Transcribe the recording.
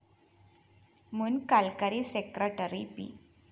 മുന്‍ കല്‍ക്കരി secretary P